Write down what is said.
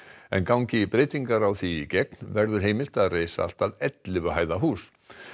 en gangi breytingar á því í gegn verður heimilt að reisa allt að ellefu hæða hús